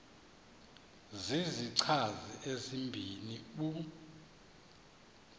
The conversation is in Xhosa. zizichazi ezibini u